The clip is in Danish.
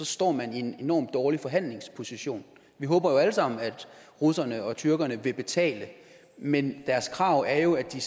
står man i en enormt dårlig forhandlingsposition vi håber alle sammen at russerne og tyrkerne vil betale men deres krav er jo at de